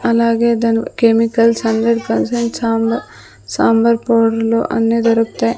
అలాగే దాని chemicals hundred percent sambar పౌడర్లు అన్ని దొరుకుతాయ్.